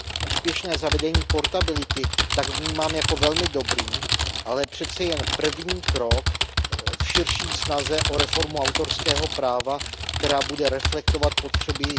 Úspěšné zavedení portability tak vnímám jako velmi dobrý, ale přeci jen první krok v širší snaze o reformu autorského práva, která bude reflektovat potřeby